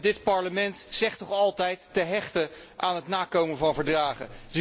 Dit Parlement zegt altijd te hechten aan het nakomen van verdragen.